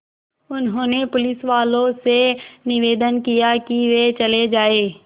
उन्होंने पुलिसवालों से निवेदन किया कि वे चले जाएँ